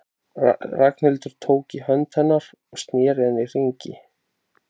Ragnhildi, tók í hönd hennar og sneri henni í hringi.